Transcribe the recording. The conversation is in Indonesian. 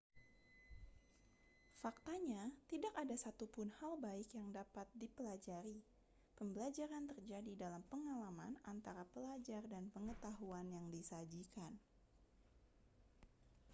faktanya tidak ada satupun hal baik yang dapat dipelajari pembelajaran terjadi dalam pengalaman antara pelajar dan pengetahuan yang disajikan